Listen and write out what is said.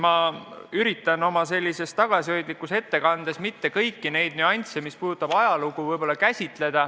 Ma üritan oma tagasihoidlikus ettekandes mitte käsitleda kõiki nüansse, mis puudutavad ajalugu.